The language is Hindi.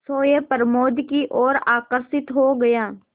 सोए प्रमोद की ओर आकर्षित हो गया